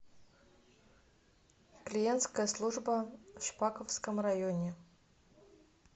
клиентская служба в шпаковском районе